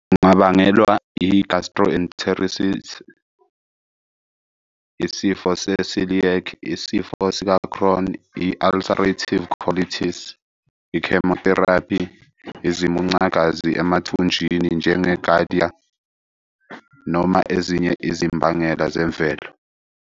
Lungabangelwa i-gastroenteritis, isifo se-celiac, isifo sikaCrohn, i-ulcerative colitis, i-chemotherapy, izimuncagazi emathunjini, njenge-giardia, noma ezinye izimbangela zemvelo.